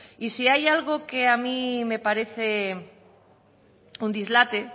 y si hay algo que a mí me parece un dislate